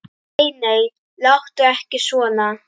Nei, nei, láttu ekki svona.